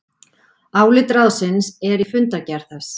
Álit ráðsins er í fundargerð þess